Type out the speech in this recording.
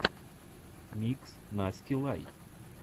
микс насти лай